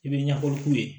I bɛ ɲɛfɔli k'u ye